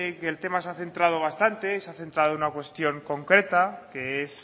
que el tema se ha centrado bastante se ha centrado en una cuestión concreta que es